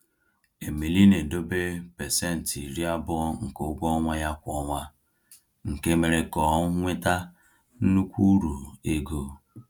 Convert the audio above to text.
Emili na-edobe 20% nke ụgwọ ọnwa ya kwa ọnwa, nke mere ka ọ nweta nnukwu uru ego.